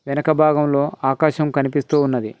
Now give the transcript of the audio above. వెనక భాగంలో ఆకాశం కనిపిస్తూ ఉన్నది.